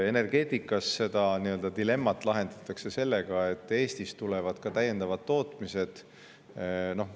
Energeetikas lahendatakse seda dilemmat sellega, et Eestisse tuleb ka tootmisi juurde.